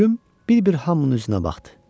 Plüm bir-bir hamının üzünə baxdı.